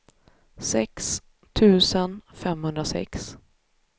sex tusen femhundrasex